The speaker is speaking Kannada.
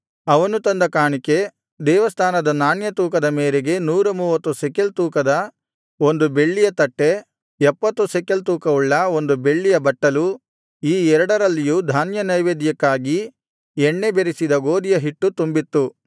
ಅವನು ತಂದ ಕಾಣಿಕೆ ದೇವಸ್ಥಾನದ ನಾಣ್ಯ ತೂಕದ ಮೇರೆಗೆ ನೂರ ಮೂವತ್ತು ಶೆಕೆಲ್ ತೂಕದ ಬೆಳ್ಳಿಯ ಒಂದು ತಟ್ಟೆ ಎಪ್ಪತ್ತು ಶೆಕೆಲ್ ತೂಕವುಳ್ಳ ಬೆಳ್ಳಿಯ ಒಂದು ಬಟ್ಟಲು ಈ ಎರಡರಲ್ಲಿಯೂ ಧಾನ್ಯನೈವೇದ್ಯಕ್ಕಾಗಿ ಎಣ್ಣೆ ಬೆರಸಿದ ಗೋದಿಯ ಹಿಟ್ಟು ತುಂಬಿತ್ತು